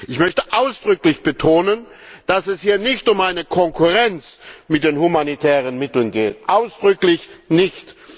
Ich möchte ausdrücklich betonen, dass es hier nicht um eine Konkurrenz mit den humanitären Mitteln geht, ausdrücklich nicht!